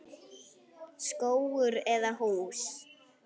Skógur eða hús?